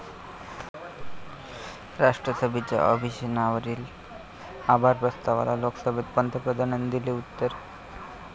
राष्ट्रपतींच्या अभिभाषणावरील आभार प्रस्तावाला लोकसभेत पंतप्रधानांनी दिलेले उत्तर